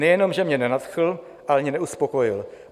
Nejenom že mě nenadchl, ale ani neuspokojil.